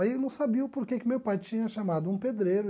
Aí eu não sabia o porquê que que meu pai tinha chamado um pedreiro.